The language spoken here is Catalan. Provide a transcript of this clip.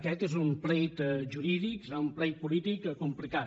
aquest és un plet jurídic serà un plet polític complicat